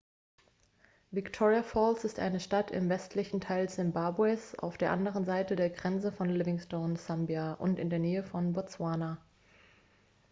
victoria falls ist eine stadt im westlichen teil simbabwes auf der anderen seite der grenze von livingstone sambia und in der nähe von botswana